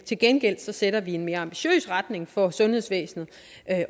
til gengæld sætter vi en mere ambitiøs retning for sundhedsvæsenet